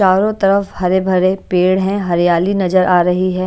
चारो तरफ हरे-भरे पेड़ हैं हरियाली नजर आ रही है।